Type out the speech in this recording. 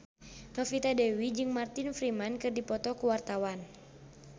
Novita Dewi jeung Martin Freeman keur dipoto ku wartawan